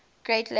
great lakes circle